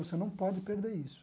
Você não pode perder isso.